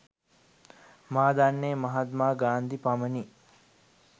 මා දන්නේ මහත්මා ගාන්ධි පමණි.